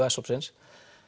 s hópsins